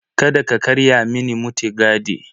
Kada ka karya mini mutigadi.